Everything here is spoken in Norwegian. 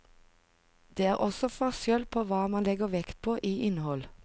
Det er også forskjell på hva man legger vekt på i innhold.